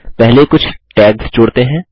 पहले कुछ टैग्स जोड़ते हैं